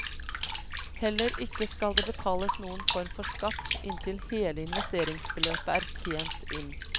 Heller ikke skal det betales noen form for skatt inntil hele investeringsbeløpet er tjent inn.